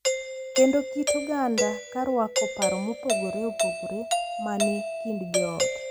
Kendo kit oganda ka rwako paro mopogore opogore ma ni e kind joot.